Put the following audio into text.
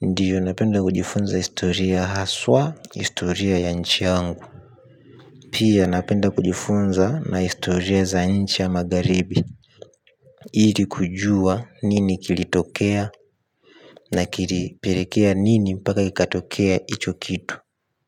Ndiyo napenda kujifunza historia haswa historia ya nchi yangu. Pia napenda kujifunza na historia za nchi ya magharibi. Iri kujua nini kilitokea na kili perekea nini paka kikatokea icho kitu.